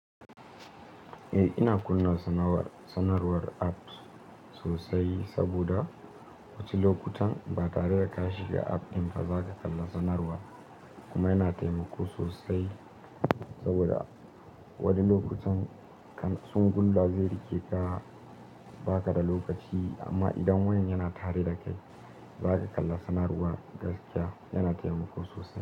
Eh ina kunna sanarwar app sosai saboda wasu lokutan ba tare da ka shiga app ɗin ba za ka kalla sanarwa kuma yana taimako sosai saboda wani lokutan kan tsungun zai rike ka ba ka da lokaci amma idan wani yana tare da kai za ka kalla sanarwar gaskiya yana taimako sosai.